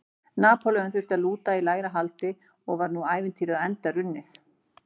Napóleon þurfti að lúta í lægra haldi og var nú ævintýrið á enda runnið.